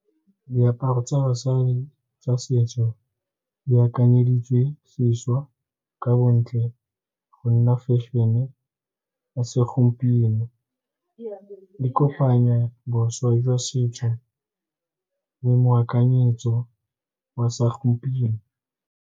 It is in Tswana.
Diaparo tsa basadi tsa setso di akanyeditswe sešwa ka bontle go nna fešene ya segompieno e e kopanyang bošwa jwa setso le moakanyetso wa sa gompieno.